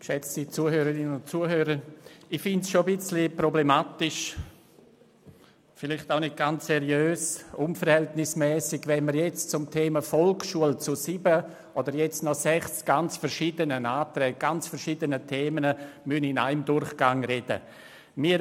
Ich finde es schon ein bisschen problematisch und vielleicht auch nicht ganz seriös, wenn wir beim Thema Volksschule zu sieben völlig unterschiedlichen Massnahmen und Themen in einem Durchgang sprechen müssen.